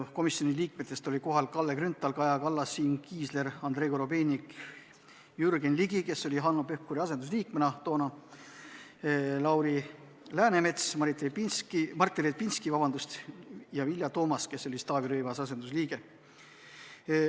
Komisjoni liikmetest olid kohal Kalle Grünthal, Kaja Kallas, Siim Kiisler, Andrei Korobeinik, Jürgen Ligi, kes oli Hanno Pevkuri asendusliige, Lauri Läänemets, Martin Repinski ja Vilja Toomast, kes oli Taavi Rõivase asendusliige.